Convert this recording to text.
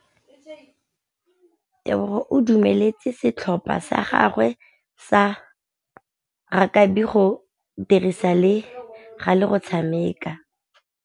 Tebogô o dumeletse setlhopha sa gagwe sa rakabi go dirisa le galê go tshameka.